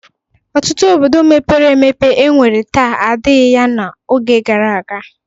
Ọtụtụ obodo mepere emepe e nwere taa adịghị ya n'oge gara aga.